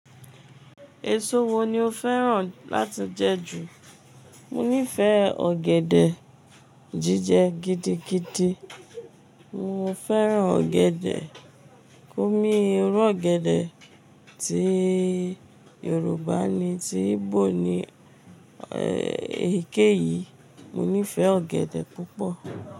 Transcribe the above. Èso wo ni o fẹ́ràn láti jẹ ju? Mo nífẹ̀ẹ ọ̀gẹ̀dẹ̀ jíjẹ gidigidi. Mo fẹ́ràn ọ̀gẹ̀dẹ̀. Oní irú ọ̀gẹ̀dẹ̀ tí Yorùbá ni tí Igbo ni, èyíkéyìí mo nífẹ̀ẹ́ ọ̀gẹ̀dẹ̀ púpọ̀.